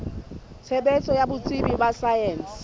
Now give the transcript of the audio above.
tshebetso ya botsebi ba saense